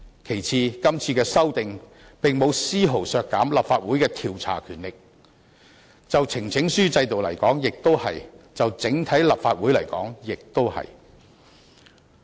其次，今次的修訂並沒有絲毫削減立法會的調查權力，就呈請書制度而言如此，就立法會整體而言亦如此。